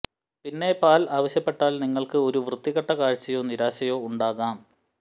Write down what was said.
പിന്നെ പാൽ ആവശ്യപ്പെട്ടാൽ നിങ്ങൾക്ക് ഒരു വൃത്തികെട്ട കാഴ്ചയോ നിരാശയോ ഉണ്ടാകാം